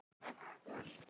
Kom hann einn?